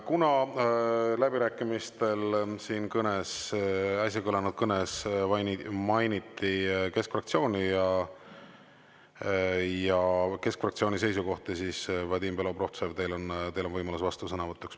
Kuna läbirääkimistel äsja kõlanud kõnes mainiti keskfraktsiooni ja keskfraktsiooni seisukohti, siis, Vadim Belobrovtsev, teil on võimalus vastusõnavõtuks.